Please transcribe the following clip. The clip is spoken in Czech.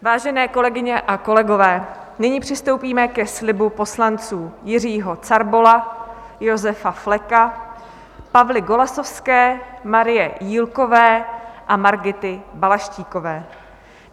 Vážené kolegyně a kolegové, nyní přistoupíme ke slibu poslanců: Jiřího Carbola, Josefa Fleka, Pavly Golasowské, Marie Jílkové a Margity Balaštíkové.